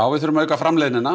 við þurfum að auka framleiðnina